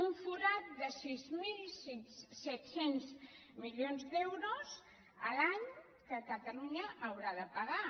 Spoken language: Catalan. un forat de sis mil set cents milions d’euros l’any que catalunya haurà de pagar